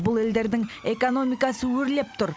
бұл елдердің экономикасы өрлеп тұр